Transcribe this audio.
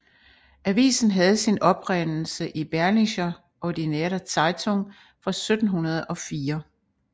Avisen havde sin oprindelse i Berlinische Ordinaire Zeitung fra 1704